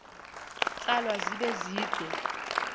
tsalwa zibe zide